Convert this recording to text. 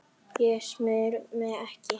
Þú smyrð mig ekki.